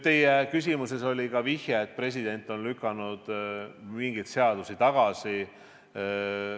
Teie küsimuses oli ka vihje, et president on lükanud mingeid seadusi tagasi.